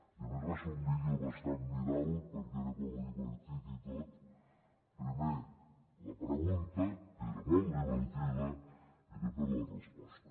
i a més va ser un vídeo bastant viral perquè era com divertit i tot primer la pregunta que era molt divertida i després la resposta